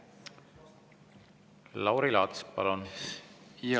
Lauri Laats, palun!